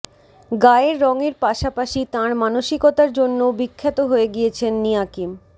গায়ের রংয়ের পাশাপাশি তাঁর মানসিকতার জন্যও বিখ্যাত হয়ে গিয়েছেন নিয়াকিম